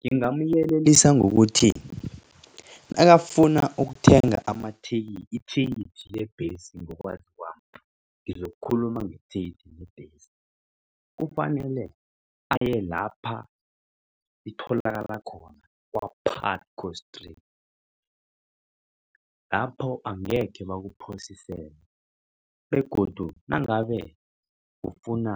Ngingamyelelisa ngokuthi nakafuna ukuthenga ithikithi lebhesi ngokwazi kwami ngizokukhuluma ngethikithi lebhesi. Kufanele aye lapha itholakala khona kwa-Pucto straight lapho angekhe bakuphosisele begodu nangabe ufuna